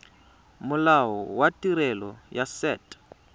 molao wa tirelo ya set